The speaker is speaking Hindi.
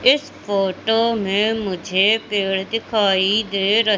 इस फोटो में मुझे पेड़ दिखाई दे र--